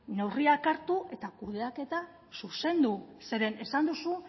neurriak hartu eta kudeaketa zuzendu zeren esan duzu